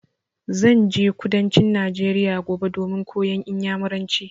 Zan je kudancin Najeriya gobe domin koyan Inyamuranci.